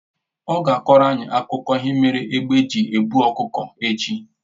Ọ ga-akọrọ anyị akụkọ ihe mere egbe ji e buru ọkụkọ echi